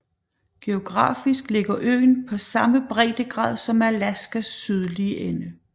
Geografisk ligger øen på samme breddegrad som Alaskas sydlige ende